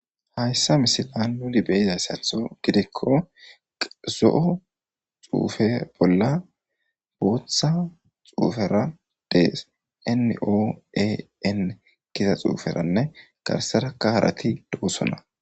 Hayssa misilan nu beyizayssatho gidikko zo'o xuufe bolla botha xuufera de'es. NOAN giza xuuferanne garssera harati de'osona.